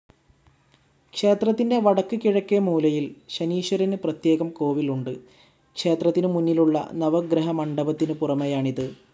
ക്ഷേത്രത്തിന്റെ വടക്ക് കിഴക്കേ മൂലയിൽ ശനീശ്വരന് പ്രത്യേകം കോവിൽ ഉണ്ട്. ക്ഷേത്രത്തിനുമുന്നിലുള്ള നവഗ്രഹമണ്ഡപത്തിനു പുറമേയാണിത്.